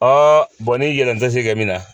Ɔ ni yɛlɛn tɛ se ka min na